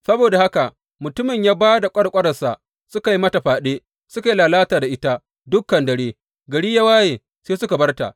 Saboda haka mutumin ya ba da ƙwarƙwaransa, suka yi mata fyaɗe suka yi lalata da ita dukan dare, gari yana wayewa sai suka bar ta.